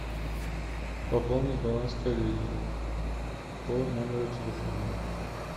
пополнить баланс коллеги по номеру телефона